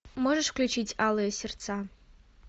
можешь включить алые сердца